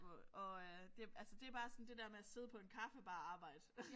Og og øh det altså det bare sådan det der med at sidde på en kaffebar arbejde